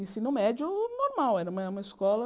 Ensino médio, normal, era uma uma escola.